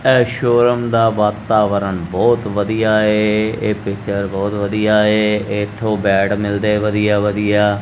ਇਹ ਸ਼ੋਰੂਮ ਦਾ ਵਾਤਾਵਰਨ ਬਹੁਤ ਵਧੀਆ ਹੈ ਇਹ ਪਿਕਚਰ ਬਹੁਤ ਵਧੀਆ ਹੈ ਇੱਥੋਂ ਬੇਟ ਮਿਲਦੇ ਵਧੀਆ ਵਧੀਆ।